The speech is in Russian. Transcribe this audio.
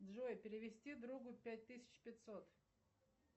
джой перевести другу пять тысяч пятьсот